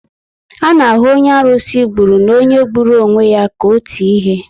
A na ahụ onye arusi gburu na onye gburu onwe ya ka otu ihe